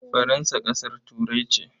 Faransa ƙasar Turai ce.